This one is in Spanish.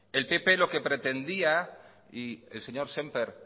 el pp lo que pretendía el señor sémper